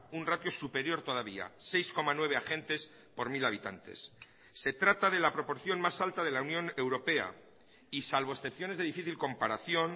un ratio superior todavía seis coma nueve agentes por mil habitantes se trata de la proporción más alta de la unión europea y salvo excepciones de difícil comparación